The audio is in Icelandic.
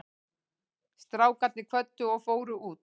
Strákarnir kvöddu og fóru út.